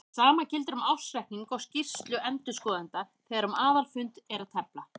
Sama gildir um ársreikning og skýrslu endurskoðenda þegar um aðalfund er að tefla.